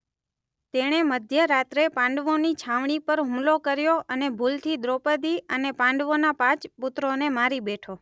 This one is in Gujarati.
તેણે મધ્ય રાત્રે પાંડવોની છાવણી પર હુમલો કર્યો અને ભૂલથી દ્રૌપદી અને પાંડવોના પાંચ પુત્રોને મારી બેઠો.